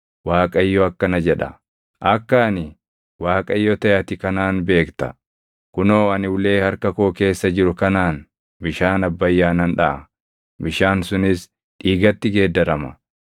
Waaqayyo akkana jedha: Akka ani Waaqayyo taʼe ati kanaan beekta: Kunoo ani ulee harka koo keessa jiru kanaan bishaan Abbayyaa nan dhaʼa; bishaan sunis dhiigatti geeddarama.